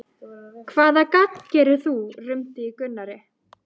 Hvaða gagn gerir þú? rumdi í Gunnari.